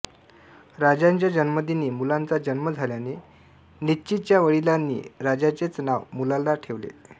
राजाच्या जन्मदिनी मुलाचा जन्म झाल्याने नित्चीच्या वडिलांनी राजाचेच नाव मुलाला ठेवले